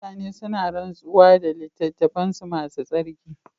Mutane suna rantsuwa da littattafansu masu tsarki.